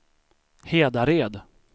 Hedared